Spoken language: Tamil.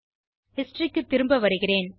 ஹிஸ்டரி க்கு திரும்ப வருகிறேன்